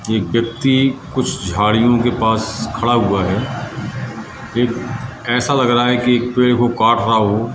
कि व्यक्ति कुछ झाड़ियों के पास खड़ा हुआ है एक ऐसा लग रहा है कि पेड़ को काट रहा हो।